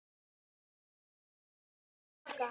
Verður hann kallaður til baka?